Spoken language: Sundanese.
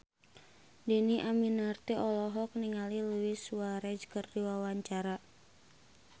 Dhini Aminarti olohok ningali Luis Suarez keur diwawancara